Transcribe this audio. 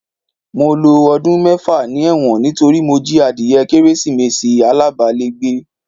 Mo lo ọdún mẹ́fà ni ẹ̀wọ̀n nítorí mo jí adìye Kérésìmesì abágbálégbé